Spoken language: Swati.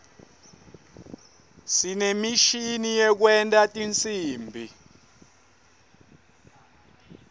sinemishini yekwenta tinsimbi